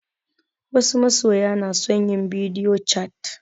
Wasu masoya na son yin bidio cat